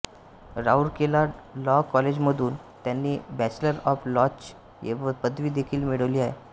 Rourkela law कॉलेजमधून त्यांनी bachelor of लॉची पदवी देखील मिळवली आहे